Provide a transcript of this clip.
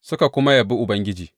Suka kuma Yabi Ubangiji.